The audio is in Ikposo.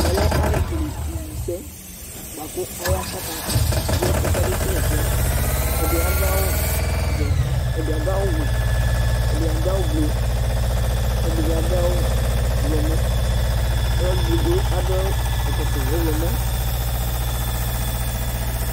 tɛ lɛ alu kele ivu sɛ bʋa ku aya kaka zɔ ɛsɛ ka be kele ɛkuɛ, ɛdi adu awu vɛ, ɛdi adu awu wɛ, ɛdi adu awu blu, ku ɛdi bi adu awu ɔwlɔmɔ, ɔlu edigbo adu awu ɛkɔtɔ ɔwlɔmɔ